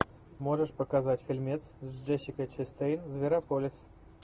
можешь показать фильмец с джессикой честейн зверополис